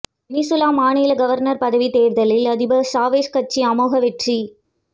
Venezuela மாநில governor பதவி தேர்தலில் அதிபர் சாவேஸ் கட்சி அமோக வெற்றி